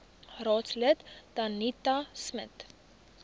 raadslid danetta smit